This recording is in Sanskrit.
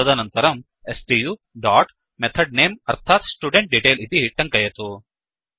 तदनन्तरं स्तु डाट् मेथड्नेम् अर्थात् स्टुडेन्ट्डेटेल इति टङ्कयतु